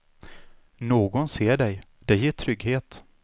Någon ser dig, det ger trygghet.